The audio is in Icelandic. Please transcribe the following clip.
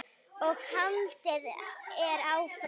og haldið er áfram.